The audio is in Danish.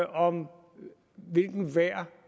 om hvilket værd